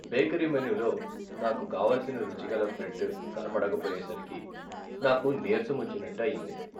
Bakery మెనులో నాకు కావలిసిన రుచిగల బ్రెడ్ కనపడకపోయేసరికి నాకు నీరసమొచ్చినట్టు అయింది.